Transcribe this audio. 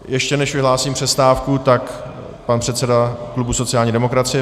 Ještě než vyhlásím přestávku, tak pan předseda klubu sociální demokracie.